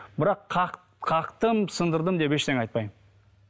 бірақ қақтым сындырдым деп ештеңе айтпаймын